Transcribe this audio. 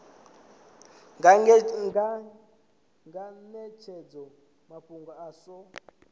nga netshedza mafhungo a so